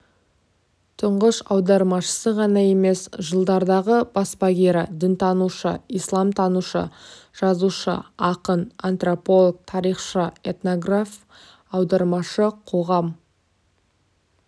тұңғыш аудармашысы ғана емес жылдардағы баспагері дінтанушы исламтанушы жазушы ақын антрополог тарихшы этнограф аудармашы қоғам